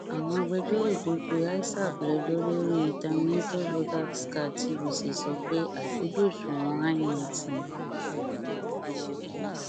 àwọn agbẹjọrò tó pe isap lẹjọ lórí terminator voters card tvc sọ pé àìkojú òṣùwọn inet ni